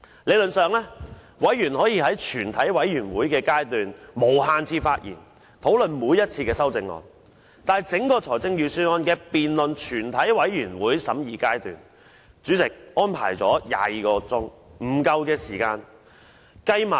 理論上，議員可以在全體委員會審議階段無限次發言，討論每一項修正案，但就整項預算案辯論，主席只預留不足22小時以供完成全體委員會審議階段。